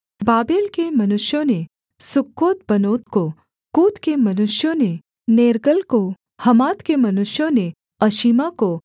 Babel के मनुष्यों ने सुक्कोतबनोत को कूत के मनुष्यों ने नेर्गल को हमात के मनुष्यों ने अशीमा को